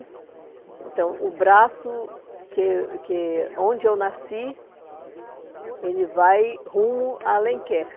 Então, o braço, que que onde eu nasci, ele vai rumo à Lenker.